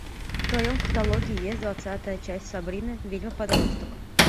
в твоем каталоге есть двадцатая часть сабрина ведьма подросток